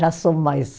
Já sou mais